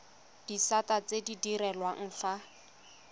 disata tse di direlwang fa